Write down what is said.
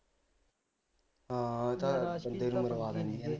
ਹਾਂ ਤਾ